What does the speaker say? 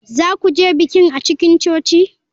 Za ku je bikin a cikin coci?